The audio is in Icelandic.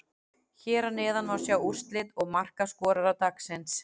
Hér að neðan má sjá úrslit og markaskorara dagsins: